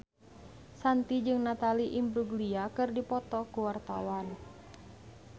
Shanti jeung Natalie Imbruglia keur dipoto ku wartawan